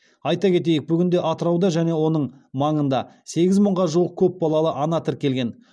айта кетейік бүгінде атырауда және оның маңында сегіз мыңға жуық көп балалы ана тіркелген